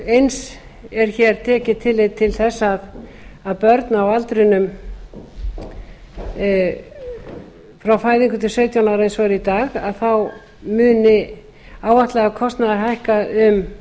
eins er hér tekið tillit til þess að börn á aldrinum frá fæðingu til sautján ára eins og er í dag muni áætlaður kostnaður hækka